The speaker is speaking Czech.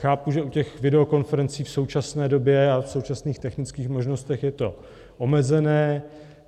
Chápu, že u těch videokonferencí v současné době a v současných technických možnostech je to omezené.